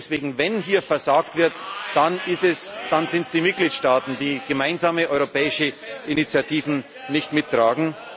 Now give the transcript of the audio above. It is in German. ist. Und deswegen Wenn hier versagt wird, dann sind es die Mitgliedstaaten, die gemeinsame europäische Initiativen nicht mittragen.